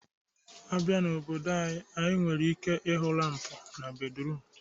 Abia n'obodo anyị, ị nwere ike ịhụ lampụ na bedruum